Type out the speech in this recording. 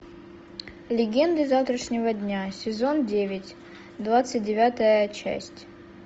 легенды завтрашнего дня сезон девять двадцать девятая часть